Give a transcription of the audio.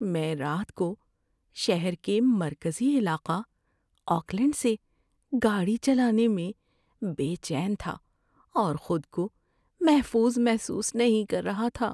میں رات کو شہر کے مرکزی علاقہ آکلینڈ سے گاڑی چلانے میں بے چین تھا اور خود کو محفوظ محسوس نہیں کر رہا تھا۔